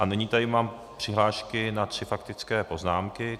A nyní tady mám přihlášky na tři faktické poznámky.